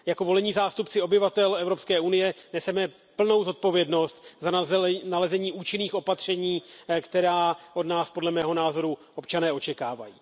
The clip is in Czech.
Jako volení zástupci obyvatel Evropské unie neseme plnou zodpovědnost za nalezení účinných opatření, která od nás, podle mého názoru, občané očekávají.